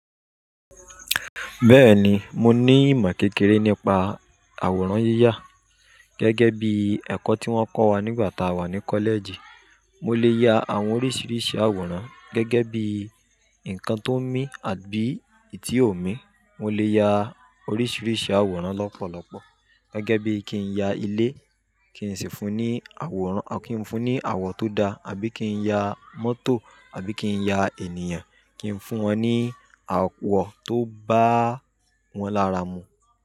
Bẹ́ẹ̀ni, mo ní ìmọ̀ kékeré nípa àwòrán yíyà gẹ́gẹ́ bí ẹ̀kọ́ tí wón kọ́ wa nígbà tá a wà ní kọ́lẹ́ẹ̀jì. Mo lè ya àwọn oríṣiríṣi àwòrán gẹ́gẹ́ bí ǹkan tó ń mí àbí ìtí ò ń mí. Mo lè ya oríṣiríṣi àwòrán lọ́pọ̀lọpọ̀. Gẹ́gẹ́ bí kí n ya ilé, kí n sì fún un ní àwòrán à kí n fún ní àwọ̀ tó da àbí kí n ya mọ́tò àbí kí n ya ènìyàn, kí n fún wọn ní àwọ̀ tó bá wọn lára mú.